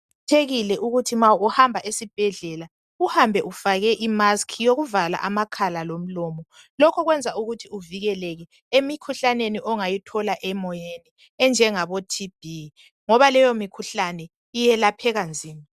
Kuqakathekile ukuthi ma uhamba ezibhendlela uhambe ufake imasiki yokuvala amakhala lomlomo. Lokhu kwenza ukuthi uvikeleke emikhuhlaneni ongayithola emoyeni enje ngaboTB ngoba leyo mikhuhlane iyelapheka nzima.